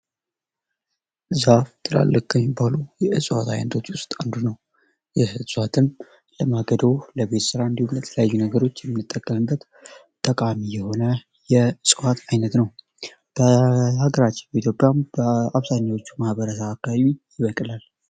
ዛፍ ትላልቅ ከሚባሉ የእጽዋት አይነቶች ውስጥ አንዱ ነው ይህ እጽዋትም ለማገዶ ለቤት ስራ ለተለያዩ ነገሮች የምንጠቀምበት ጠቃሚ የሆነ የእጽዋት አይነት ነው በሀገራችን በኢትዮጵያም በአብዛኞቹ ማህበረሰብ አካባቢ ይበቅላል።